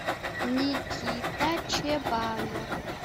никита чебанов